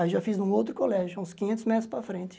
Aí já fiz num outro colégio, uns quinhentos metros para frente.